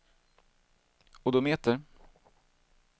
odometer